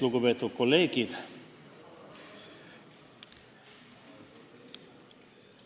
Lugupeetud kolleegid!